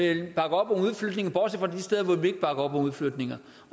ikke bakker op om udflytninger